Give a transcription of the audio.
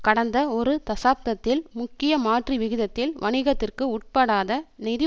கடந்த ஒரு தசாப்தத்தில் முக்கிய மாற்றுவிகிதத்தில் வணிகத்திற்கு உட்படாத நிதி